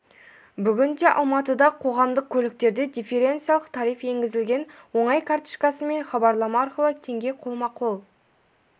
бүгін де алматыда қоғамдық көліктерде дифференциялық тариф енгізілген оңай карточкасы мен хабарлама арқылы теңге қолма қол